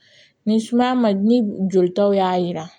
Ni sumaya ma ni jolitaw y'a jira